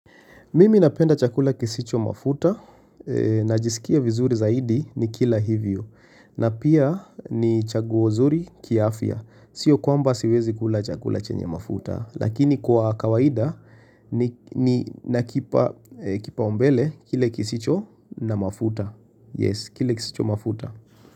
Mimi napenda chakula kisicho mafuta, najisikia vizuri zaidi nikila hivyo, na pia ni chaguo zuri kiafya. Sio kwamba siwezi kula chakula chenye mafuta, lakini kwa kawaida ninakipa kipau mbele kile kisicho na mafuta. Yes, kile kisicho mafuta.